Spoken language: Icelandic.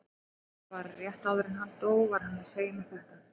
Bara rétt áður en hann dó var hann að segja mér þetta.